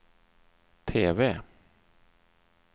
TV